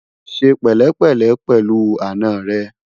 ṣé pèlé pèlé pèlú àná rè